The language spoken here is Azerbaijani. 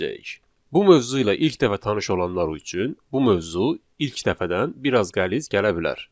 Bu mövzu ilə ilk dəfə tanış olanlar üçün bu mövzu ilk dəfədən biraz qəliz gələ bilər.